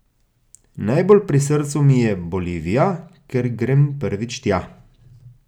Najbolj pri srcu mi je Bolivija, ker grem prvič tja.